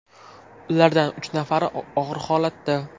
Ulardan uch nafari og‘ir holatda.